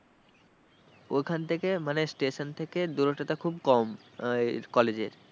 ওখান থেকে মানে station থেকে দূরত্বটা খুব কম আহ college এর।